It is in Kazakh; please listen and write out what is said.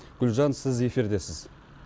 гүлжан сіз эфирдесіз